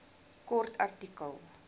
kort artikel